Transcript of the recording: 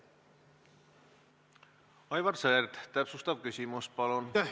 Aivar Sõerd, täpsustav küsimus, palun!